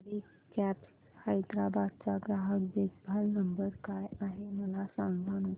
सवारी cabs Hyderabad चा ग्राहक देखभाल नंबर काय आहे मला सांगाना